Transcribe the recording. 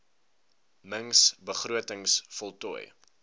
mings begrotings voltooi